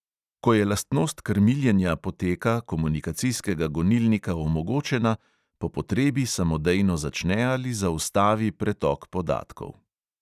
Ko je lastnost krmiljenja poteka komunikacijskega gonilnika omogočena, po potrebi samodejno začne ali zaustavi pretok podatkov.